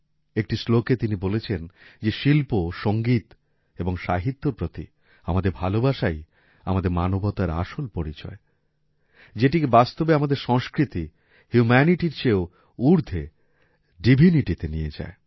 একটি শ্লোকে তিনি বলেছেন যে শিল্প সঙ্গীত এবং সাহিত্যর প্রতি আমাদের ভালোবাসাই আমাদের মানবতার আসল পরিচয় যেটিকে বাস্তবে আমাদের সংস্কৃতি হিউমেনিটি র চেয়েও উর্ধে ডিভিনিটি তে নিয়ে যায়